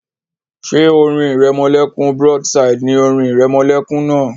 Ṣé orin ìrẹmọlẹ́kún broadside ni orin ìrẹmọlẹ́kún náà?